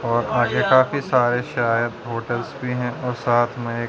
और आगे काफी सारे शायद होटेल्स भी हैं और साथ में ए--